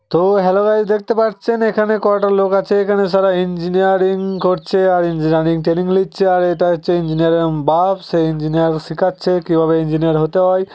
তো hello guys দেখতে পাচ্ছেন এখানে কটা লোক আছে এখানে শালা ইঞ্জিনিয়ারিং করছে আর ইঞ্জিনিয়ারিং ট্রেনিং লিচ্ছে আর এটা হচ্ছে ইঞ্জিনিয়ারিং -এর বাপ সে ইঞ্জিনিয়ার শেখাচ্ছে কিভাবে ইঞ্জিনিয়ার হতে হয় |